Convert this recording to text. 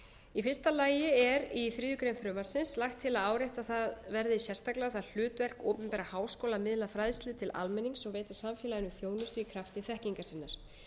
í fyrsta lagi er í þriðju greinar frumvarpsins lagt til að áréttað verði sérstaklega það hlutverk opinberra háskóla að miðla fræðslu til almennings og veita samfélaginu þjónustu í krafti þekkingar sinnar